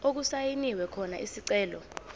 okusayinwe khona isicelo